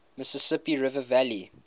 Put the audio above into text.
mississippi river valley